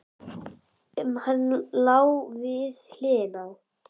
Um hann sem lá við hliðina á